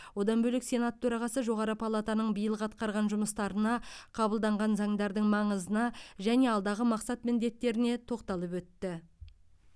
одан бөлек сенат төрағасы жоғары палатының биылғы атқарған жұмыстарына қабылданған заңдардың маңызына және алдағы мақсат міндеттеріне тоқталып өтті